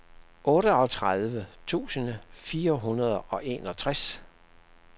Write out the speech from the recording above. otteogtredive tusind fire hundrede og enogtres